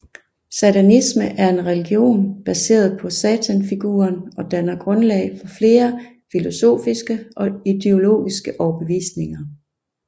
Satanisme er en religion baseret på satanfiguren og danner grundlag for flere filosofiske og ideologiske overbevisninger